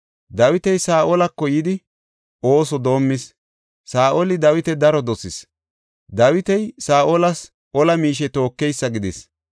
Dawiti Saa7olako yidi ooso doomis. Saa7oli Dawita daro dosis; Dawiti Saa7olas ola miishe tookeysa gidis.